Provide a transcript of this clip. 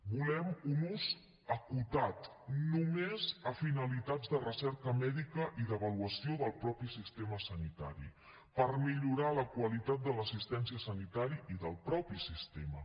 volem un ús acotat només a finalitats de recerca mèdica i d’avaluació del mateix sistema sanitari per millorar la qualitat de l’assistència sanitària i del mateix sistema